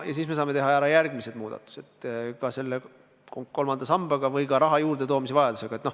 Ja siis me saame teha järgmised muudatused kolmanda sambaga ja tegeleda ka raha juurdetoomise vajadusega.